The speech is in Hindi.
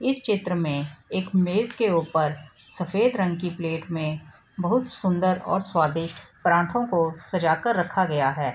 इस चित्र में एक मेज के ऊपर सफेद रंग की प्लेट में बहुत सूंदर और स्वादिस्ट पराठों को सजा कर रखा गया है।